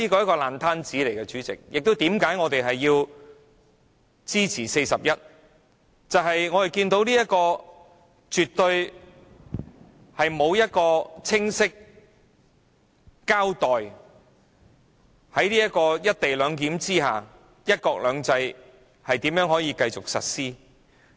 我們支持根據《議事規則》第41條動議的議案，因為政府沒有清晰交代"一地兩檢"下，"一國兩制"如何繼續實施。